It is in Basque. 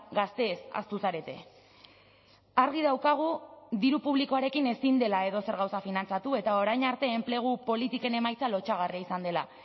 gazteez ahaztu zarete argi daukagu diru publikoarekin ezin dela edozer gauza finantzatu eta orain arte enplegu politiken emaitza lotsagarria izan dela